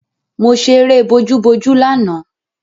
Mo ṣẹ eré bojúbojú lánàá